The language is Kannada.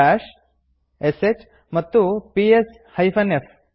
ಬಾಶ್ ಶ್ ಮತ್ತು ಪಿಎಸ್ f